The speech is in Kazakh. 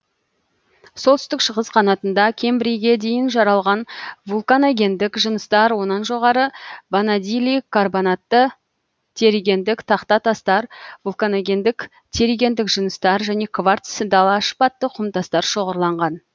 солтүстік шығыс қанатында кембррийге дейін жаралған вулканогендік жыныстар онан жоғары ванадийлі карбонатты терригендік тақта тастар вулканогендік терригендік жыныстар және кварц дала шпатты құм тастар шоғырланған